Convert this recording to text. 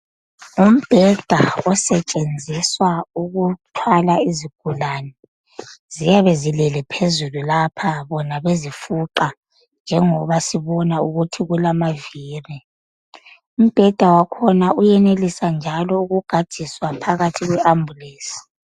Ngmbheda osetsenziswa ukuthwala izigulane ziyabe zilele phezulu lapha bona bezifuqa njengoba sibona ukuthi kulamaviri umbheda wakhona uyeneliswa njalo ukugadiswa phakathi kwe Ambulensi.